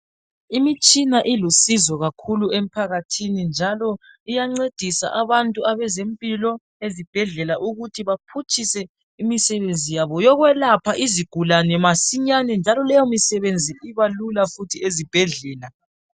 Imitshina ilusizo kakhulu emphakathini njalo iyancedisa abantu abezempilo ezibhedlela ukuthi baphutshise imisebenzi yabo yokwelapha izigulane masinyane njalo leyo msebenzi ibalula futhi ezibhedlela